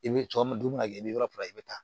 I bɛ tɔɔrɔ don min na i bɛ yɔrɔ min i bɛ taa